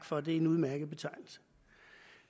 for det er en udmærket betegnelse